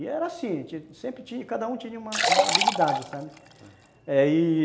E era assim, a gente sempre tinha, cada um tinha uma uma habilidade, sabe?